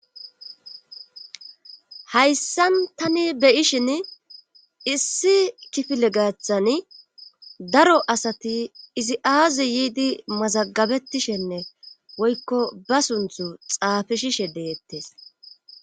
Hayssan tani beyishin issi kifile gaththani daro asati izi aazi yiidi mazagabetishenne woykko ba sunththu xaafishishe deettes